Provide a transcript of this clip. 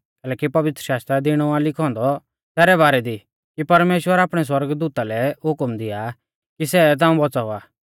कैलैकि पवित्रशास्त्रा दी इणौ आ लिखौ औन्दौ तैरै बारै दी कि परमेश्‍वर आपणै दूता लै हुकम दिया कि सै ताऊं बौच़ावा